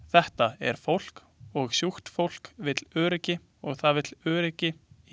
Þetta er fólk og sjúkt fólk vill öryggi og það vill öryggi í bakhjarli.